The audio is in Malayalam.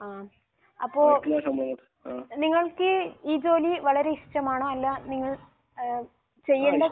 ആഹ്. അപ്പോൾ നിങ്ങൾക്ക് ഈ ഈ ജോലി വളരെ ഇഷ്ടമാണോ അല്ല നിങ്ങൾ ഏഹ് ചെയ്യേണ്ട